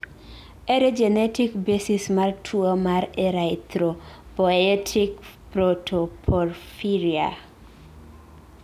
ere genetic basis mar tuwo mar erythropoietic protoporphyria?